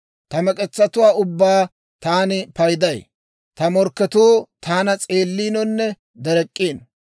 Ta mek'etsatuwaa ubbaa taan payday. Ta morkketuu taana s'eelliinonne derek'k'iino.